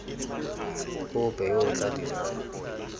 ope yo o tla dirisang